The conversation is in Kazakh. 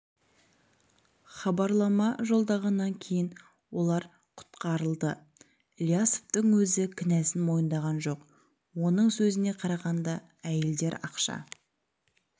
хабарлама жолдағаннан кейін олар құтқарыларды ілиясовтың өзі кінәсін мойындаған жоқ оның сөзіне қарағанда әйелдер ақша